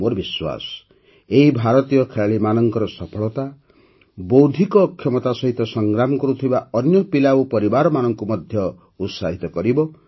ମୋର ବିଶ୍ୱାସ ଏହି ଭାରତୀୟ ଖେଳାଳିମାନଙ୍କର ସଫଳତା ବୌଦ୍ଧିକ ଅକ୍ଷମତା ସହିତ ସଂଗ୍ରାମ କରୁଥିବା ଅନ୍ୟ ପିଲା ଓ ପରିବାରମାନଙ୍କୁ ମଧ୍ୟ ଉତ୍ସାହିତ କରିବ